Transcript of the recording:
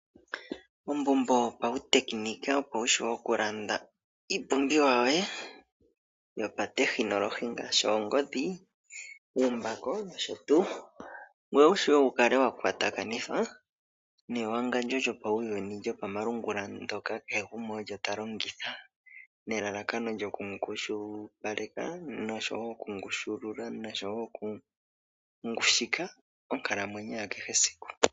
Ombumbo yo pawu tekinika opo wu shiwe okulanda iipumbiwa yoye yo pawu tekinolohi ngaashi oongodhi, uumbako nosho tuu, ngoye wushiwe wukale wakwatakanithwa newangalyo lyopawuyuni lyopamalungula, ndoka kehe gumwe olyo talongitha nelalakano lyoku ngushipaleka, nosho wo oku ngushulula nosho wo oku ngushika onkalamwenyo yakehe esiku.